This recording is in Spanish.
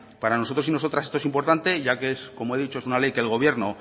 para nosotros y nosotras esto es importante ya que es como he dicho una ley que el gobierno